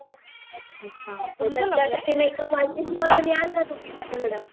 त्यासाठी makeup artist म्हणून तुम्ही याल का माझ्याकडं?